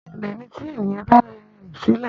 Ìrẹ́lẹ́ ni tí èèyàn bá rẹ ara rẹ sílẹ̀